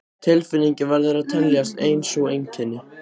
Tilfinningin verður að teljast ein sú einkenni